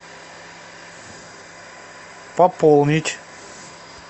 пополнить